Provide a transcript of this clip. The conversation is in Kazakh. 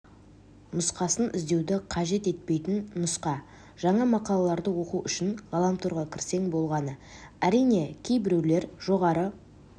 нұсқасын іздеуді қажет етпейтін нұсқа жаңа мақалаларды оқу үшін ғаламторға кірсең болғаны әрине кейбіреулер жоғары